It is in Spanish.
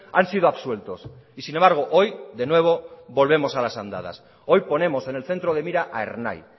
han sido absueltos y sin embargo hoy de nuevo volvemos a las andadas hoy ponemos en el centro de mira a ernai